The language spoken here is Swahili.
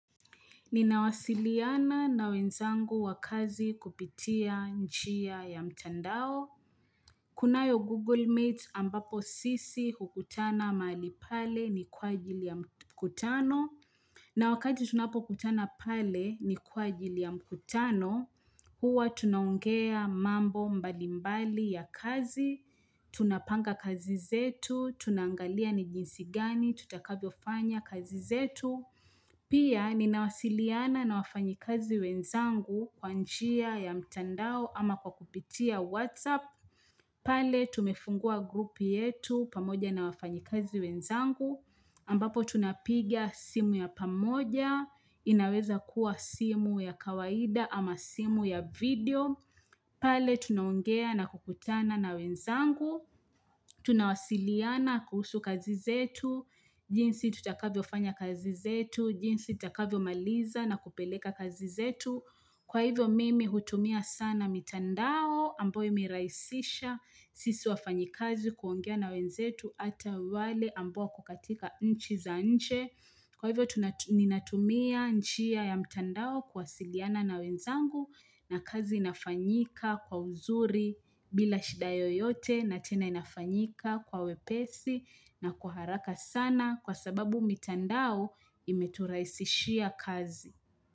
Ninawasiliana na wenzangu wa kazi kupitia njia ya mtandao. Kunayo Google Meet ambapo sisi hukutana mahali pale ni kwa ajili ya mkutano. Na wakati tunapokutana pale ni kwa ajili ya mkutano, huwa tunaongea mambo mbalimbali ya kazi. Tunapanga kazi zetu, tuna angalia ni jinsi gani, tutakavyofanya kazi zetu. Pia ninawasiliana na wafanyikazi wenzangu kwa njia ya mtandao ama kwa kupitia Whatsapp. Pale tumefungua group yetu pamoja na wafanyikazi wenzangu. Ambapo tunapiga simu ya pamoja. Inaweza kuwa simu ya kawaida ama simu ya video. Pale tunaongea na kukutana na wenzangu. Tunawasiliana kuhusu kazi zetu. Jinsi tutakavyofanya kazi zetu, jinsi tutakavyomaliza na kupeleka kazi zetu. Kwa hivyo mimi hutumia sana mitandao ambayo imerahisisha sisi wafanyikazi kuongea na wenzetu hata wale ambao wako katika nchi za nje. Kwa hivyo, tuna ninatumia njia ya mtandao kuwasiliana na wenzangu na kazi inafanyika kwa uzuri bila shida yoyote na tena inafanyika kwa wepesi na kwa haraka sana kwa sababu mitandao imeturahisishia kazi.